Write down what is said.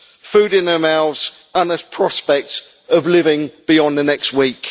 food in their mouths and the prospect of living beyond the next week.